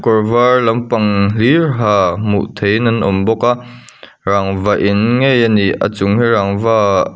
kawr var lampang hlir ha hmuh theih in an awm bawk a rangva in ngei a ni a chung hi rangva--